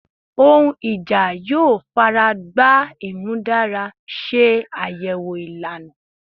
Ohun ija yoo faragba imudara se ayewo ilana